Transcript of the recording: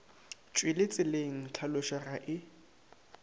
tšwele tseleng tlhalošo ga e